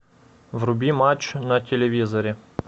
вруби матч на телевизоре